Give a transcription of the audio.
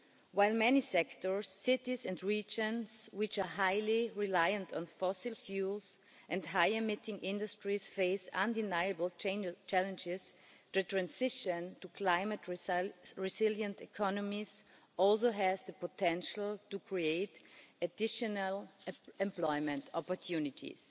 all. While many sectors, cities and regions which are highly reliant on fossil fuels and high emitting industries face undeniable challenges, the transition to climate-resilient economies also has the potential to create additional employment opportunities.